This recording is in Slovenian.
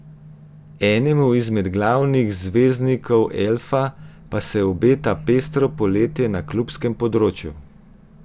Enemu izmed glavnih zvezdnikov elfa pa se obeta pestro poletje na klubskem področju.